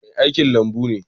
Mai aikin lambun ne.